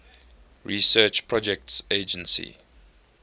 research projects agency